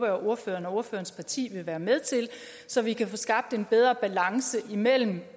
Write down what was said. at ordføreren og ordførerens parti vil være med til så vi kan få skabt en bedre balance imellem